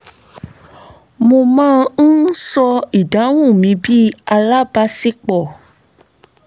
mo má ń ṣọ́ ìdáhùn mi bí alábaṣípọ̀